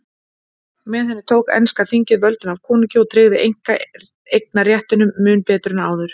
Með henni tók enska þingið völdin af konungi og tryggði einkaeignarréttinn mun betur en áður.